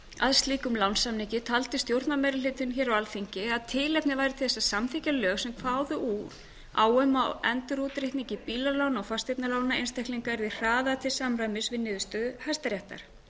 að slíkum lánssamningi taldi stjórnarmeirihlutinn hér á alþingi að tilefni væri til að samþykkja lög sem kváðu á um að endurútreikningi bílalána og fasteignalána einstaklinga yrði hraðað til samræmis við niðurstöðu hæstaréttar